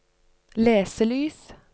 leselys